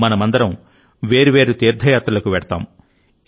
మనమందరం వేర్వేరు తీర్థయాత్రలకు వెళ్తాం